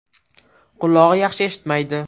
Qulog‘i yaxshi eshitmaydi.